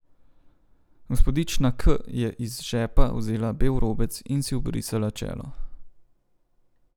Gospodična K je iz žepa vzela bel robec in si obrisala čelo.